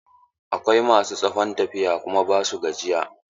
Akwai ma su tsawon tafiya kuma ba su gajiya.